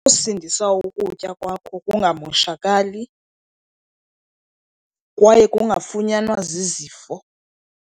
Usindisa ukutya kwakho kungamoshakali kwaye kungafunyanwa zizifo.